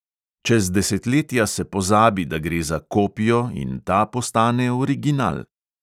Čez desetletja se pozabi, da gre za "kopijo", in ta postane original.